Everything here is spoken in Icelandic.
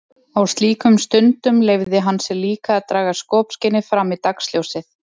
Á slíkum stundum leyfði hann sér líka að draga skopskynið fram í dagsljósið.